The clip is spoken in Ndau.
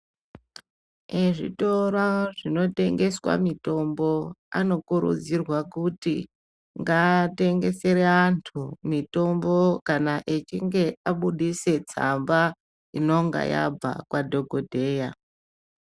Ezvitoro zvinotengeswa mitombo anokurudzirwa kuti ngaatengesere antu mitombo kana echinge abudise tsamba inonga yabve kwadhogodheya.